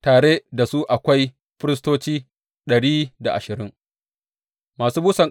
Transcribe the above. Tare da su akwai firistoci dari da ashirin masu busan ƙahoni.